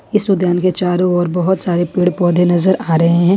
इस उद्यान के चारों ओर बहोत सारे पेड़ पौधे नजर आ रहे है।